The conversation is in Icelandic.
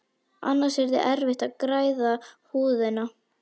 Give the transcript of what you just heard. Annars yrði erfitt að græða húðina.